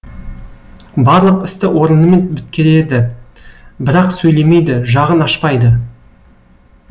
барлық істі орынымен біткереді бірақ сөйлемейді жағын ашпайды